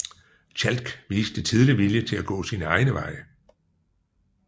Tjalk viste tidlig vilje til at gå sine egne veje